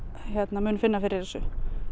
mun finna fyrir þessu